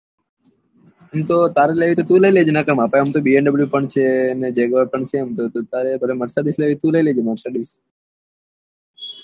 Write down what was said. એમ તો તારે લેવી હોય તો તું લઇ લે જે મારા પાસે તો આમ તો VMW પણ છે ને JAGUR પણ છે આમ તો પણ તારે marcidick લેવી હોય તો લઇ લે જે